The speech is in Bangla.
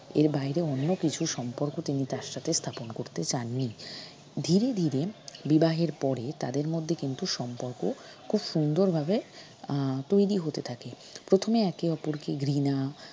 এর বাইরে অন্যকিছুর সম্পর্ক তিনি তার সাথে স্থাপন করতে চান নি ধীরে ধীরে বিবাহের পরে তাদের মধ্যে কিন্তু সম্পর্ক খুব সুন্দরভাবে আহ তৈরি হতে থাকে প্রথমে একে অপরকে ঘৃণা